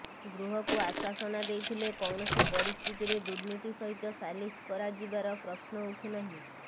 ଗୃହକୁ ଆଶ୍ୱସନା େଦଇଥିଲେ କୌଣସି ପରିସ୍ଥିତିରେ ଦୁର୍ନୀତି ସହିତ ସାଲିସ କରାଯିବାର ପ୍ରଶ୍ନ ଉଠୁନାହିଁ